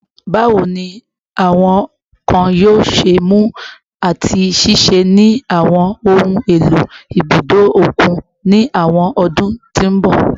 Bawo ni awọn nkan yoo ṣe mu ati ṣiṣẹ ni awọn ohun elo ibudo okun ni awọn ọdun to nbọ?